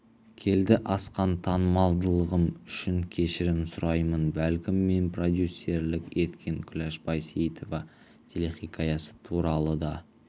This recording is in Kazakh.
келді асқан танымалдылығым үшін кешірім сұраймын бәлкім мен продюсерлік еткен күләш байсейітова телехикаясы туралы да